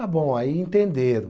Está bom, aí entenderam.